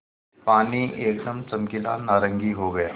पानी एकदम चमकीला नारंगी हो गया